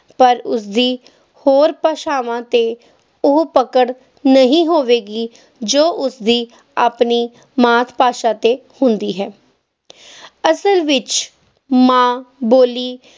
ਪਰ ਉਸ ਦੀ ਹੋਰ ਭਾਸ਼ਾਵਾਂ 'ਤੇ ਉਹ ਪਕੜ ਨਹੀਂ ਹੋਵੇਗੀ ਜੋ ਉਸ ਦੀ ਆਪਣੀ ਮਾਤ-ਭਾਸ਼ਾ 'ਤੇ ਹੁੰਦੀ ਹੈ ਅਸਲ ਵਿੱਚ ਮਾਂ-ਬੋਲੀ